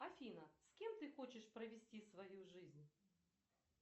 афина с кем ты хочешь провести свою жизнь